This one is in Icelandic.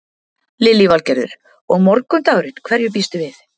Lillý Valgerður: Og morgundagurinn, hverju býstu við?